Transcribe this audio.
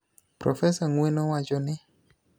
Profesa Ng�weno wacho ni: